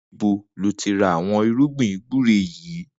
Nibò lòtí rà awọn irùgbín gbùré yi